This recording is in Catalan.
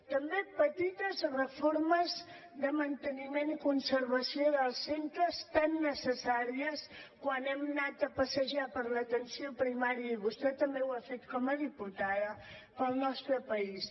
també petites reformes de manteniment i conservació dels centres tan necessàries quan hem anat a passejar per l’atenció primària i vostè també ho ha fet com a diputada pel nostre país